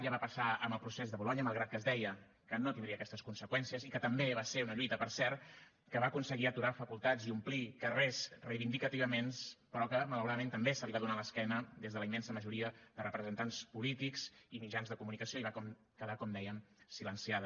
ja va passar amb el procés de bolonya malgrat que es deia que no tindria aquestes conseqüències i que també va ser una lluita per cert que va aconseguir aturar facultats i omplir carrers reivindicativament però que malauradament també se li va donar l’esquena des de la immensa majoria de representants polítics i mitjans de comunicació i va quedar com dèiem silenciada